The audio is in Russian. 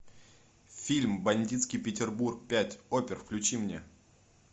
фильм бандитский петербург пять опер включи мне